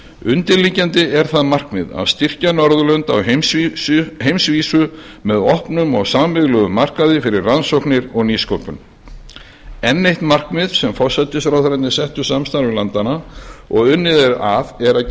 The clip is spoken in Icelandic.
undirliggjandi er það markmið að styrkja norðurlönd á heimsvísu með opnum og sameiginlegum markaði fyrir rannsóknir og nýsköpun enn eitt markmiðið sem forsætisráðherrarnir settu samstarfi landanna og unnið er að er að